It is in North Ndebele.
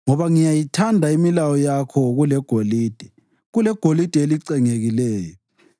Ngoba ngiyayithanda imilayo yakho kulegolide, kulegolide elicengekileyo,